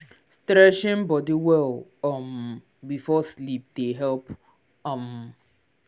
stretching body well um before sleep dey help. um